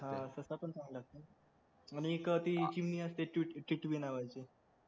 ससा पण चांगला असतो आणि एक ती चिमणी असती ट्विट टिटवी नावाची